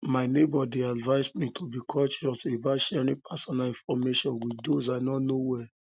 my neighbor dey advise me to be um cautious about sharing personal um information with those i no know well